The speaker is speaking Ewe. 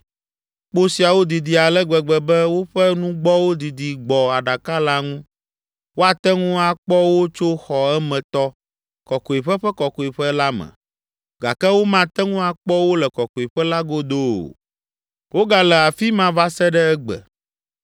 Kpo siawo didi ale gbegbe be, woƒe nugbɔwo didi gbɔ aɖaka la ŋu, woate ŋu akpɔ wo tso xɔ emetɔ, Kɔkɔeƒe ƒe Kɔkɔeƒe la me, gake womate ŋu akpɔ wo le Kɔkɔeƒe la godo o. Wogale afi ma va se ɖe egbe.